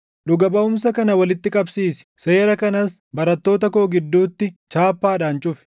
Dhuga baʼumsa kana walitti qabsiisi; seera kanas barattoota koo gidduutti chaappaadhaan cufi.